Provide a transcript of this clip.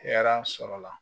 Hɛrɛ sɔrɔla